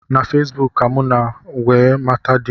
Na Fesbụụk ka mụ nọ wee mata di m